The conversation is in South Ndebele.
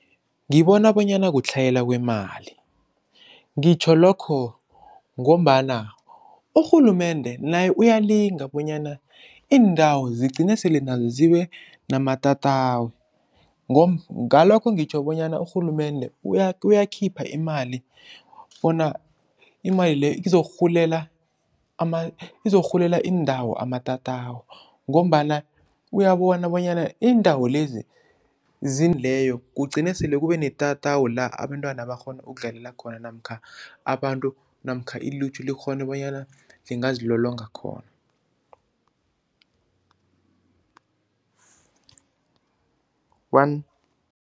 Ngibona bonyana kutlhayela kwemali, ngitjho lokho ngombana urhulumende naye uyalinga bonyana iindawo zigcine sele nazo zibe namatatawu. Ngalokho ngitjho bonyana urhulumende uyakhipha imali bona imali leyo izokurhulela izokurhulela iindawo amatatawu ngombana uyabona bonyana iindawo lezi leyo kugcine sele kube netatawu la abentwana barhona ukudlalela khona namkha abantu namkha ilutjha likghone bonyana lingazilolonga khona one.